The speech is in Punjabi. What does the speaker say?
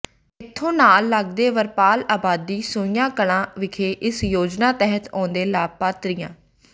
ਇਥੋਂ ਨਾਲ ਲਗਦੇ ਵਰਪਾਲ ਆਬਾਦੀ ਸੋਹੀਆਂ ਕਲਾਂ ਵਿਖੇ ਇਸ ਯੋਜਨਾ ਤਹਿਤ ਆਉਂਦੇ ਲਾਭਪਾਤਰੀਆਂ